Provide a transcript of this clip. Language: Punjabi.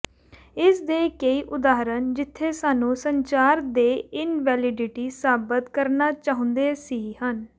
ਇਸ ਦੇ ਕਈ ਉਦਾਹਰਣ ਜਿੱਥੇ ਸਾਨੂੰ ਸੰਚਾਰ ਦੇ ਇਨਵੈਲਿਡਿਟੀ ਸਾਬਤ ਕਰਨਾ ਚਾਹੁੰਦਾ ਸੀ ਹਨ